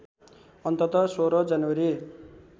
अन्तत १६ जनवरी